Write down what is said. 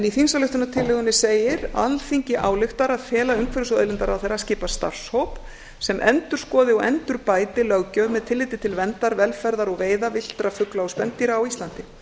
í þingsályktunartillögunni segir alþingi ályktar að fela umhverfis og auðlindaráðherra að skipa starfshóp sem endurskoði og endurbæti löggjöf með tilliti til verndar velferðar og veiða villtra fugla og spendýra á íslandi